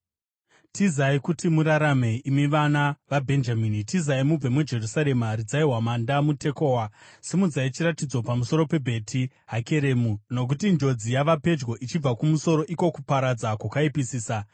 “Tizai kuti murarame, imi vana veBhenjamini! Tizai mubve muJerusarema! Ridzai hwamanda muTekoa! Simudzai chiratidzo pamusoro peBheti Hakeremu! Nokuti njodzi yava pedyo ichibva kumusoro, iko kuparadza kwakaipisisa.